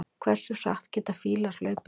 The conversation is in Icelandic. hversu hratt geta fílar hlaupið